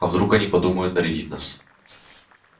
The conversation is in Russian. а вдруг они подумают нарядить нас